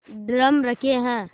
drum रखे हैं